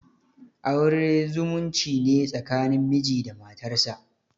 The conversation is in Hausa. Aure zumunci ne tsakanin miji da matarsa.